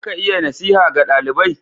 Za ka iya nasiha ga dalibai?